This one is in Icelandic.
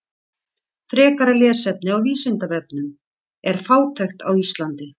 Frekara lesefni á Vísindavefnum: Er fátækt á Íslandi?